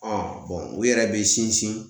Ɔn u yɛrɛ be sinsin